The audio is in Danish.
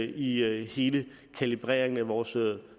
i hele kalibreringen af vores